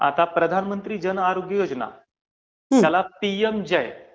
आता प्रधानमंत्री जन आरोग्य योजना